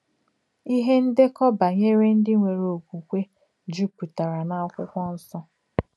Ìhè ndèkọ̀ bànyèrè ńdí nwèrè òkwùkwè jùpùtèrà n’Ákwụ́kwọ̀ Nsọ̀.